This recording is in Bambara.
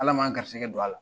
Ala m'an garisɛgɛ don a la.